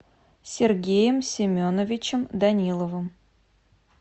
сергеем семеновичем даниловым